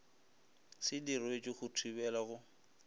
se diretšwe go thibela go